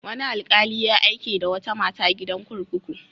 Wani alƙali ya aike da wata mata gidan kurkuku.